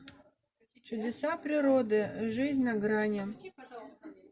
чудеса природы жизнь на грани